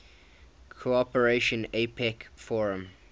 cooperation apec forum